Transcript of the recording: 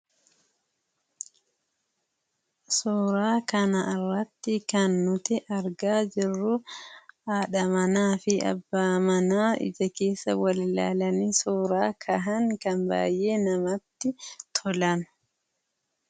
Suura kana irratti kan arginu Abbaa manaa fi haadha manaa ija keessa wal ilaalanii suura ka'aa jiranidhaa.